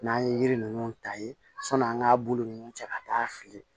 N'an ye yiri ninnu ta ye sɔnni an k'a bolo ninnu cɛ ka taa fili